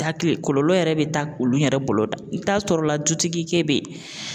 Hakili kɔlɔlɔ yɛrɛ bɛ taa olu yɛrɛ bolo dan i bɛ taa sɔrɔ la dutigi ke bɛ yen